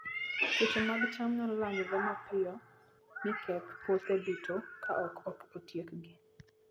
Tuoche mag cham nyalo landore mapiyo, mi keth puothe duto ka ok otiekgi.